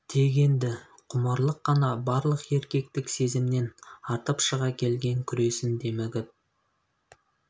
тек енді құмарлық қана барлық еркектік сезімнен артып шыға келген күресін демігіп